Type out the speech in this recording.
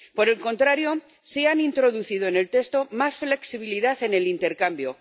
Por el contrario, sí han introducido en el texto más flexibilidad en el intercambio